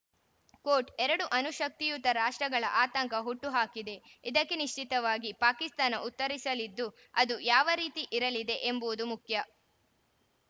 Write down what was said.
coat ಎರಡು ಅಣುಶಕ್ತಿಯುತ ರಾಷ್ಟ್ರಗಳ ಆತಂಕ ಹುಟ್ಟುಹಾಕಿದೆ ಇದಕ್ಕೆ ನಿಶ್ಚಿತವಾಗಿ ಪಾಕಿಸ್ತಾನ ಉತ್ತರಿಸಲಿದ್ದು ಅದು ಯಾವ ರೀತಿ ಇರಲಿದೆ ಎಂಬುವುದು ಮುಖ್ಯ